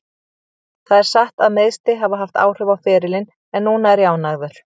Það er satt að meiðsli hafa haft áhrif á ferilinn en núna er ég ánægður.